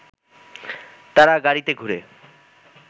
তারা গাড়িতে ঘুরে